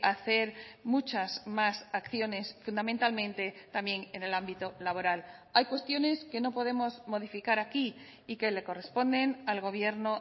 hacer muchas más acciones fundamentalmente también en el ámbito laboral hay cuestiones que no podemos modificar aquí y que le corresponden al gobierno